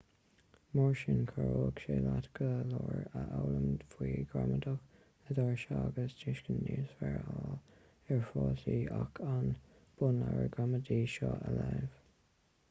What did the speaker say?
mar sin chabhródh sé leat go leor a fhoghlaim faoi ghramadach na dairise agus tuiscint níos fearr a fháil ar fhrásaí ach an bunleabhar gramadaí seo a léamh